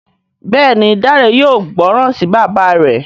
Béèni Dare yóò gbóròn sí bàbá rẹ.